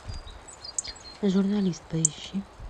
журналист поищи